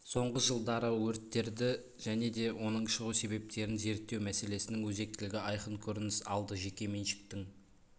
сонғы жылдары өрттерді және де оның шығу себептерін зерттеу мәселесінің өзектілігі айқын көрініс алды жеке меншіктің